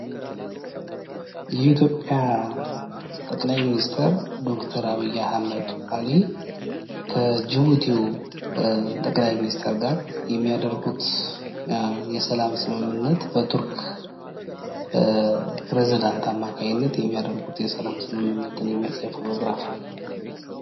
የኢትዮጵያ ጠቅላይ ሚኒስቴር ዶክተር አብይ አህመድ አሊ ከጅቡቲው ጠቅላይ ሚኒስቴር ጋር የሚያደርጉት የሰላም ስምምነት በቱርክ ፕሬዚዳንት አማካኝነት የሚያደርጉት የሰላም ስምምነት የሚያሳይ ፎቶግራፍ ነው።